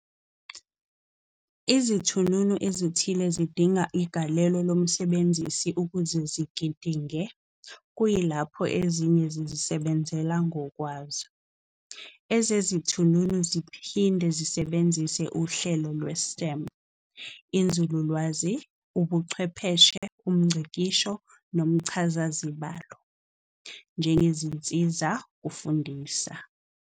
Izithununu ezithile zidinga igalelo lomsebenzisi ukuze zigidinge, kuyilapho ezinye zizisebenzela ngokwazo. Ezezithununu ziphinde zisebenzise uhlelo lwe-STEM, inzululwazi, Ubuchwepheshe, umNgcikisho, nomchazazibalo, njengenzisa kufundisa.